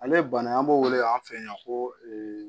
Ale bana an b'o wele an fɛ yan ko